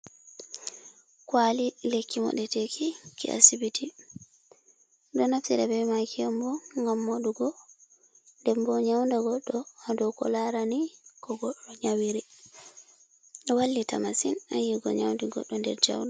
Kwali, lekki mo ɗeteki ki asibiti, minɗo naftira be maki on bo ngam madugo, dembo nyaunda goɗɗo hadow ko larani ko goɗɗo nyawiri, ɗo wallita masin ha yigo nyaudi goɗɗo jauɗum.